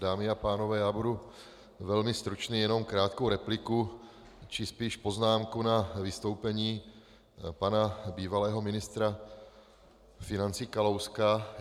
Dámy a pánové, já budu velmi stručný, jen krátkou repliku či spíš poznámku na vystoupení pana bývalého ministra financí Kalouska.